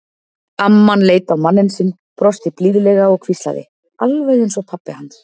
Amman leit á manninn sinn, brosti blíðlega og hvíslaði: Alveg eins og pabbi hans.